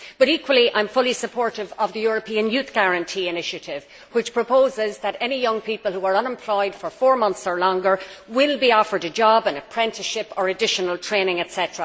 I am, however, equally supportive of the European Youth Guarantee initiative, which proposes that any young people who have been unemployed for four months or longer will be offered a job, an apprenticeship or additional training, etc.,